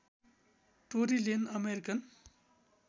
Tori Lane American